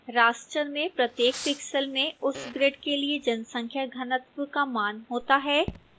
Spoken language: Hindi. raster में प्रत्येक pixel में उस ग्रिड के लिए जनसंख्या घनत्व का मान होता है